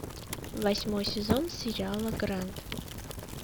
восьмой сезон сериала гранд